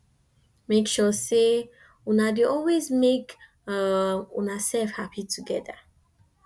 mek sure sey una dey always mek um unasef hapi togeda